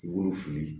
I b'olu fili